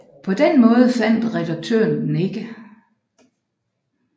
På den måde fandt redaktøren den ikke